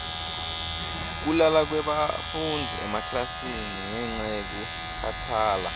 kulala kwebafundzi emaklasini ngenca yekukhatsala